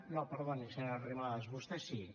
no perdoni senyora arrimadas vostè sí